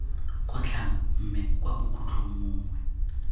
kgotlhang mme kwa bokhutlhong mongwe